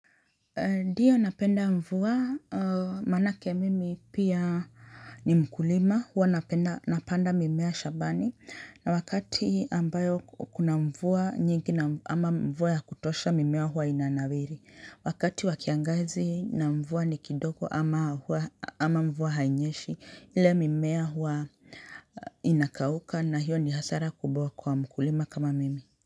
Ndiyo napenda mvua manake mimi pia ni mkulima hua napenda napanda mimea shambani na wakati ambayo kuna mvua nyingi ama mvua ya kutosha mimea hua inanawiri. Wakati wa kiangazi na mvua ni kidogo ama ama mvua hainyeshi ile mimea hua inakauka na hiyo ni hasara kubawa kwa mkulima kama mimi.